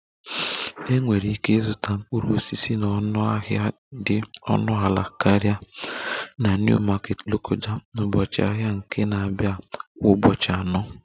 Enwere ike ịzụta mkpụrụ osisi na ọnụahịa dị ọnụ ala karịa na New market lokoja na ụbọchị ahịa nke na-abịa kwa ụbọchị anọ